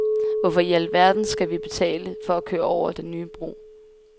Hvorfor i al verden skal vi til at betale for at køre over den nye bro?